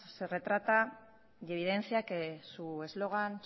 se retrata y evidencia que su eslogan